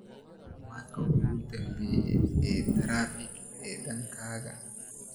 macluumaadkii ugu dambeeyay ee taraafik ee dhankayga